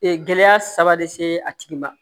Ee gɛlɛya saba de se a tigi ma